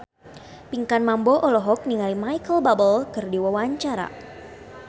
Pinkan Mambo olohok ningali Micheal Bubble keur diwawancara